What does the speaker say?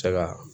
Se ka